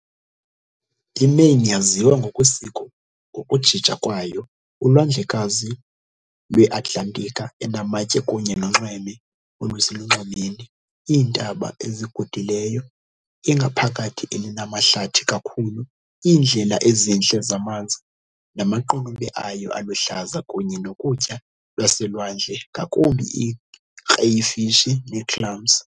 IMaine yaziwa ngokwesiko ngokujija kwayo, uLwandlekazi lweAtlantiki enamatye kunye nonxweme oluselunxwemeni, iintaba ezigudileyo, ingaphakathi elinamahlathi kakhulu, iindlela ezintle zamanzi, namaqunube ayo aluhlaza kunye nokutya kwaselwandle, ngakumbi iikreyifishi neeclams.